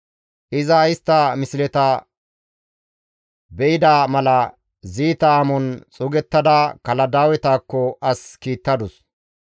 Iza istta misleta be7ida mala ziita amon xuugettada Kaladaawetakko as kiittadus.